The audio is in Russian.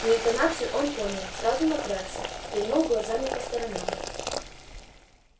но интонацию он понял сразу напрягся стрельнул глазами по сторонам